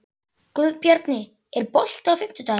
Guðbjarni, er bolti á fimmtudaginn?